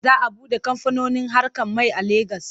Za a buɗe kamfanin haƙar mai a Legas.